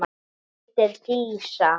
Hún heitir Dísa.